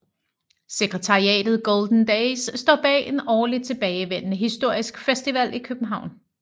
Sekretariatet Golden Days står bag en årligt tilbagevendende historisk festival i København